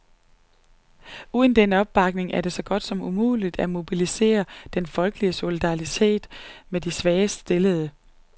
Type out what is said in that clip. Uden den opbakning er det så godt som umuligt at mobilisere den folkelige solidaritet med de svagest stillede.